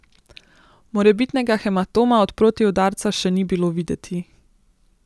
Morebitnega hematoma od protiudarca še ni bilo videti.